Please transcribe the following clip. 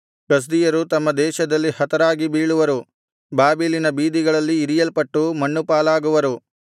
ಕಸ್ದೀಯರು ತಮ್ಮ ದೇಶದಲ್ಲಿ ಹತರಾಗಿ ಬೀಳುವರು ಬಾಬೆಲಿನ ಬೀದಿಗಳಲ್ಲಿ ಇರಿಯಲ್ಪಟ್ಟು ಮಣ್ಣುಪಾಲಾಗುವರು